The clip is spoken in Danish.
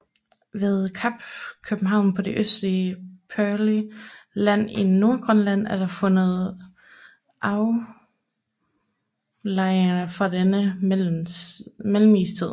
Ved Kap København på det østlige Peary Land i Nordgrønland er der fundet aflejringer fra denne mellemistid